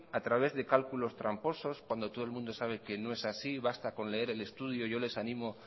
a través de cálculos tramposos cuando todo el mundo sabe que no es así basta con leer el estudio yo le ánimo